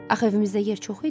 Axı evimizdə yer çox idi.